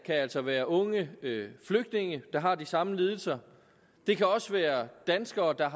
altså være unge flygtninge der har de samme lidelser det kan også være danskere der